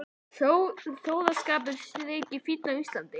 Að sóðaskapur þyki fínn á Íslandi.